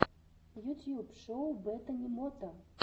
ютьюб шоу бетани мота